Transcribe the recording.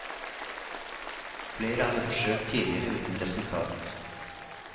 Flere hadde forsøkt tidligere uten resultat.